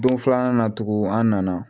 Don filanan na tugun an nana